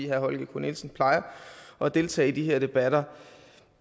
herre holger k nielsen plejer at deltage i de her debatter